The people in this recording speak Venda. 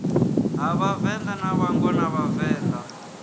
ha vhavenḓa na vhangona vhavenḓa